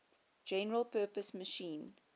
general purpose machine